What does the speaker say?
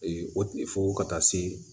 o tɛ fo ka taa se